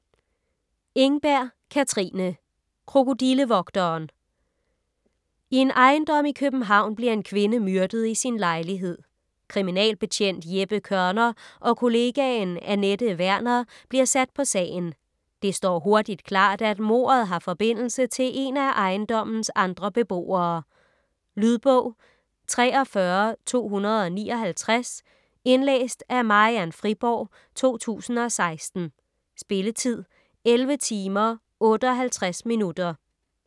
Engberg, Katrine: Krokodillevogteren I en ejendom i København bliver en kvinde myrdet i sin lejlighed. Kriminalbetjent Jeppe Kørner og kollegaen Anette Werner bliver sat på sagen. Det står hurtigt klart, at mordet har forbindelse til en af ejendommens andre beboere. Lydbog 43259 Indlæst af Marian Friborg, 2016. Spilletid: 11 timer, 58 minutter.